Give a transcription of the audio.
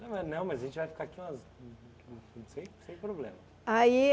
Não é não, mas a gente vai ficar aqui umas... sem sem problema. Aí